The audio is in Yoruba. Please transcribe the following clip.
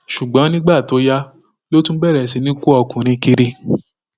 ṣùgbọn nígbà tó yá ló tún bẹrẹ sí í kó ọkùnrin kiri